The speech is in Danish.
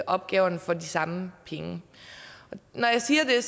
opgaverne for de samme penge når jeg siger det er